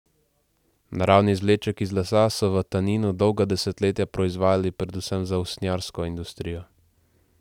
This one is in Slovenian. Naravni izvleček iz lesa so v Taninu dolga desetletja proizvajali predvsem za usnjarsko industrijo.